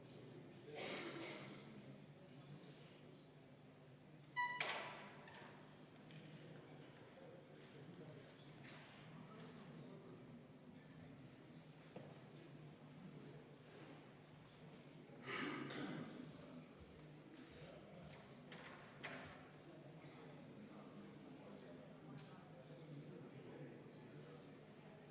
Selle esitajaks on põhiseaduskomisjon, juhtivkomisjon on seda arvestanud täielikult ja EKRE fraktsioon on palunud seda hääletada.